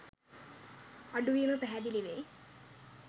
අඩුවීම පැහැදිලි වෙයි.